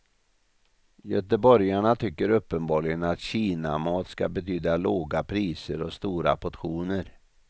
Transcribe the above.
Göteborgarna tycker uppenbarligen att kinamat ska betyda låga priser och stora portioner.